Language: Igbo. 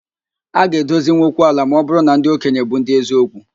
A ga edozinwụ okwu ala ma ọ bụrụ na ndị okenye bụ ndị eziokwu